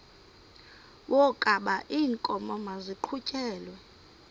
wokaba iinkomo maziqhutyelwe